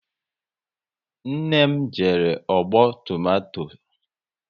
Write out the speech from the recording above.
Nne m jere ọgbọ tomato